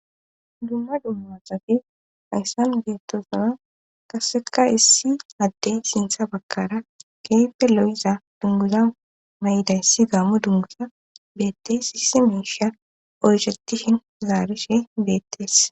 Dumma dumma sati hayssan bettosana qaseka issi addey sintha bakkara keepe lo7iza dunguza may7ida yssi gammo dungusa beettees isse miisha oyshatihin zaarishe beettees.